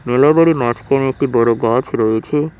মেলা বাড়ি মাঝখানে একটি বড় গাছ রয়েছে।